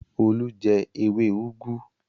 Olú jẹ ewé úgú?